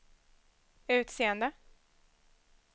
utseende